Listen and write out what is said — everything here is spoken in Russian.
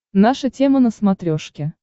наша тема на смотрешке